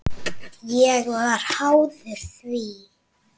Ég varð háður því.